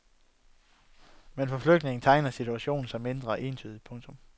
Men for flygtninge tegner situationen sig mindre entydigt. punktum